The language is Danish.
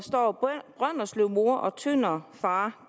brønderslevmor og tønderfar